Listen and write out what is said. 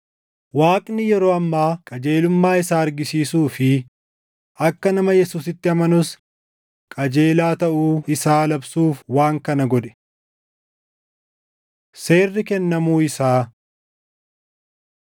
Waaqni yeroo ammaa qajeelummaa isaa argisiisuu fi akka nama Yesuusitti amanus qajeelaa taʼuu isaa labsuuf waan kana godhe. Seerri Kennamuu Isaa